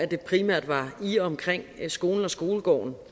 det primært var i og omkring skolen og skolegården